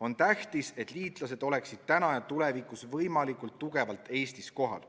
On tähtis, et liitlased oleksid täna ja tulevikus võimalikult kindlalt Eestis kohal,